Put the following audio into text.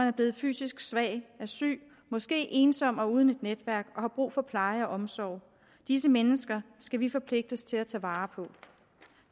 er blevet fysisk svage er syge måske ensomme og uden et netværk og har brug for pleje og omsorg disse mennesker skal vi forpligtes til at tage vare på